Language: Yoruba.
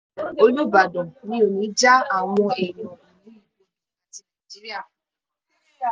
olùbàdàn mi ò ní í já àwọn èèyàn ìlú ibodàn àti nàìjíríà kulẹ̀